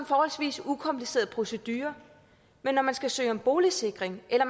forholdsvis ukompliceret procedure men når man skal søge om boligsikring eller